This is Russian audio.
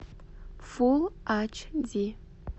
фулл ач ди